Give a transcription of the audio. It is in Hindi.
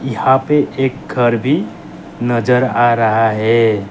यहां पे एक घर भी नजर आ रहा है।